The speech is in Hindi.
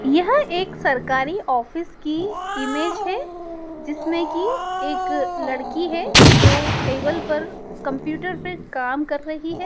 यह एक सरकारी ऑफिस की इमेज है जिसमे कि एक लड़की है जो टेबल पर कंप्यूटर पर काम कर रही है।